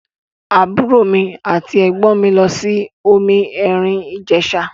Àbúrò mi àti ẹ̀gbọ́n mi lọ sí omi èrìn Ìjẹ̀ṣà.